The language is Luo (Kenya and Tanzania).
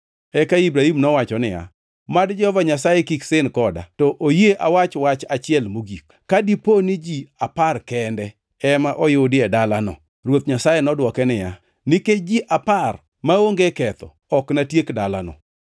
Eka Ibrahim nowacho niya, “Mad Jehova Nyasaye kik sin koda, to oyie awach wach achiel mogik. Ka dipo ni ji apar kende ema oyudi e dalano?” Ruoth Nyasaye nodwoke niya, “Nikech ji apar maonge ketho ok natiek dalano.”